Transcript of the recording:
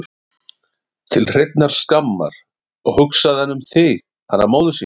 Til hreinnar skammar, og hugsaði hann um þig, hana móður sína?